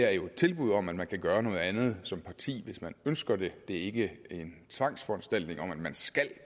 er jo et tilbud om at man kan gøre noget andet som parti hvis man ønsker det det er ikke en tvangsforanstaltning om at man skal